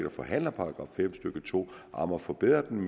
og forhandler § fem stykke to om at forbedre den